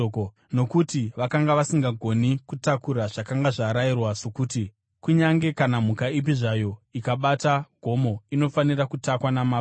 nokuti vakanga vasingagoni kutakura zvakanga zvarayirwa sokuti: “Kunyange kana mhuka ipi zvayo ikabata gomo, inofanira kutakwa namabwe.”